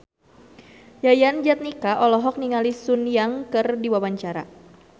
Yayan Jatnika olohok ningali Sun Yang keur diwawancara